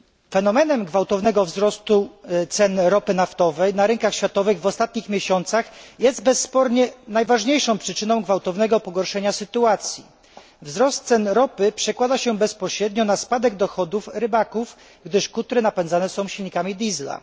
Fenomen gwałtownego wzrostu cen ropy naftowej na rynkach światowych w ostatnich miesiącach jest bezspornie najważniejszą przyczyną gwałtownego pogorszenia sytuacji. Wzrost cen ropy przekłada się bezpośrednio na spadek dochodów rybaków, gdyż kutry napędzane są silnikami diesla.